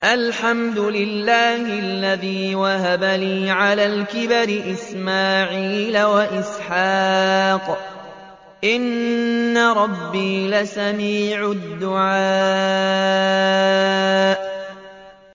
الْحَمْدُ لِلَّهِ الَّذِي وَهَبَ لِي عَلَى الْكِبَرِ إِسْمَاعِيلَ وَإِسْحَاقَ ۚ إِنَّ رَبِّي لَسَمِيعُ الدُّعَاءِ